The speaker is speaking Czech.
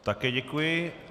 Také děkuji.